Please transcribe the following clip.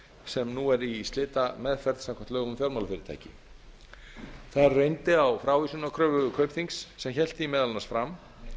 sem nú er í slitameðferð samkvæmt lögum um fjármálafyrirtæki þar reyndi á frávísunarkröfu kaupþings sem hélt því meðal annars fram